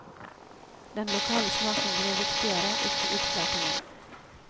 Den lokale smaken blir viktigere, ikke utflatingen.